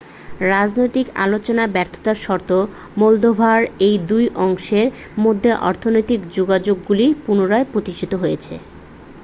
রাজনৈতিক আলোচনায় ব্যর্থতা সত্ত্বেও মোলদোভার এই দুই অংশের মধ্যে অর্থনৈতিক যোগাযোগগুলি পুনরায় প্রতিষ্ঠিত হয়েছে